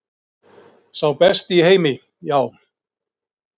Sá besti í heimi, já.